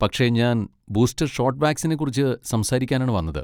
പക്ഷെ ഞാൻ booster shot വാക്സിനെ കുറിച്ച് സംസാരിക്കാനാണ് വന്നത്.